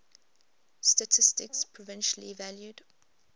statistics provisionally valued